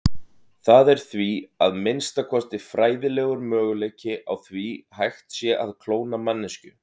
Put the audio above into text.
Það er því, að minnsta kosti fræðilegur, möguleiki á því hægt sé að klóna manneskju.